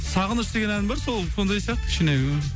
сағыныш деген ән бар сол сондай сияқты кішкене